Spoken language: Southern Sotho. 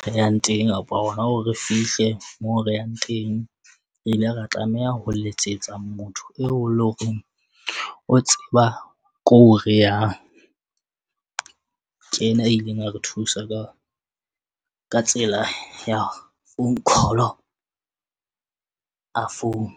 re yang teng kapa hona hore re fihle moo re yang teng. Re ile ra tlameha ho letsetsa motho eo e leng hore o tseba ko re yang. Ke ena a ileng a re thusa ka tsela ya phone call a founa.